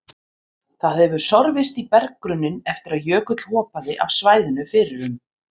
Það hefur sorfist í berggrunninn eftir að jökull hopaði af svæðinu fyrir um